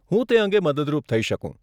હું તે અંગે મદદરૂપ થઇ શકું.